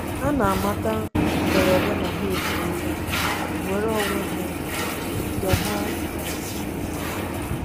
Ha na-amata mberede na ha efuola nnwere onwe ha nke ha nke ukwuu.